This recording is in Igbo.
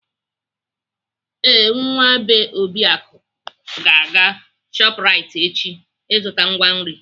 Ee, Nwa bee Obiaku ga-aga Shoprite echi azụta ngwa nri.